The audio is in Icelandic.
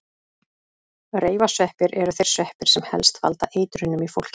Reifasveppir eru þeir sveppir sem helst valda eitrunum í fólki.